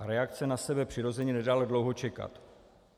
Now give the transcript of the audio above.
A reakce na sebe přirozeně nedala dlouho čekat.